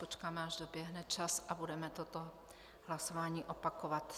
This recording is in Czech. Počkáme, až doběhne čas, a budeme toto hlasování opakovat.